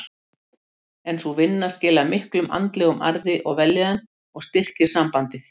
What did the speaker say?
En sú vinna skilar miklum andlegum arði og vellíðan og styrkir sambandið.